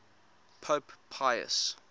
pope pius